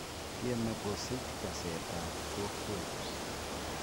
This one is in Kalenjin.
Tieme kosich kaseet ab kokweet